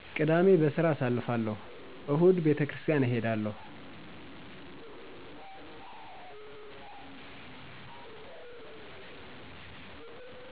ቅዳሜ በስራ አሳልፍለሁ እሁድ ቤተክሪስታን እሔዳለሁ